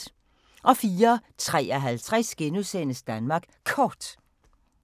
04:53: Danmark Kort *